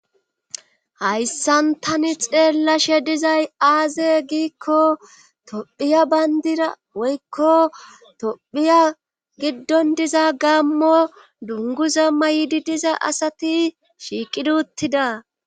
hayssan tani xeellashe dizay aaze giikko tophiya bayndira woykko tophiya giddon diza gaammo dungu zamma yiidi diza asati shiiqiduttida